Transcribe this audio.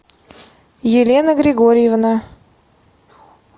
елена григорьевна